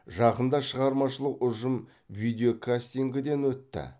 жақында шығармашылық ұжым видеокастингіден өтті